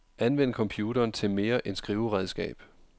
Anvend computeren til mere end skriveredskab.